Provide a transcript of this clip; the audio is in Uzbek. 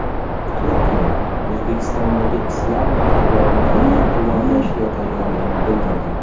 Turkiya O‘zbekistondagi islom maktablarini qo‘llab-quvvatlashga tayyorligini bildirdi.